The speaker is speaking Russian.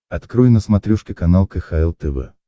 открой на смотрешке канал кхл тв